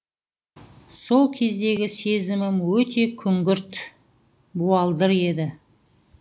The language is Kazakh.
сол кездегі сезімім өте күңгірт буалдыр еді